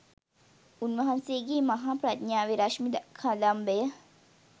උන්වහන්සේගේ මහා ප්‍රඥාවේ රශ්මි කදම්බය